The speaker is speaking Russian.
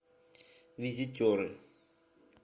визитеры